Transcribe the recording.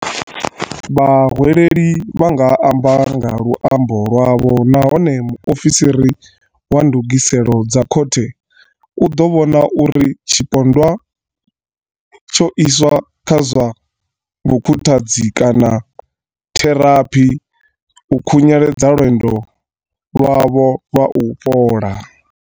Vha hweleli vha nga amba nga luambo lwavho nahone mu ofisiri wa ndugiselo dza khothe u ḓo vhona uri tshi pondwa tsho iswa kha zwa vhukhuthadzi kana theraphi, u khunyeledza lwendo lwavho lwa u fhola.